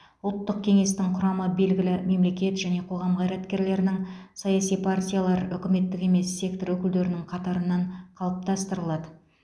ұлттық кеңестің құрамы белгілі мемлекет және қоғам қайраткерлерінің саяси партиялар үкіметтік емес сектор өкілдерінің қатарынан қалыптастырылады